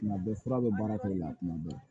Tuma bɛɛ fura bɛ baara k'o la tuma bɛɛ